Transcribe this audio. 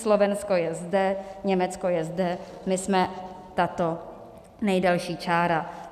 Slovensko je zde, Německo je zde, my jsme tato nejdelší čára.